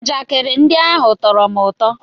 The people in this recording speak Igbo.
Njakịrị ndị ahụ tọrọ m ụtọ